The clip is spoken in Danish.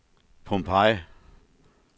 Pompeii